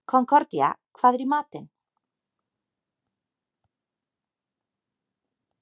Konkordía, hvað er í matinn?